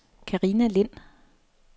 Carina Lind